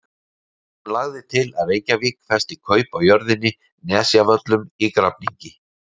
Hún lagði til að Reykjavík festi kaup á jörðinni Nesjavöllum í Grafningi.